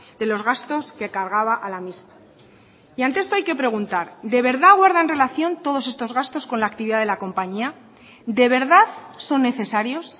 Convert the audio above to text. de los gastos que cargaba a la misma y ante esto hay que preguntar de verdad guardan relación todos estos gastos con la actividad de la compañía de verdad son necesarios